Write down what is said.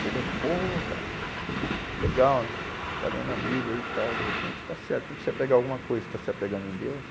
Chega, pô cara, que legal, está lendo uma Bíblia aí e tal, de repente está certo, tem que se apegar a alguma coisa, está se apegando em Deus.